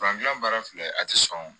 baara filɛ a ti sɔn